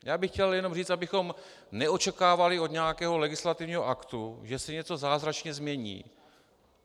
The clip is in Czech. Já bych chtěl jenom říct, abychom neočekávali od nějakého legislativního aktu, že se něco zázračně změní.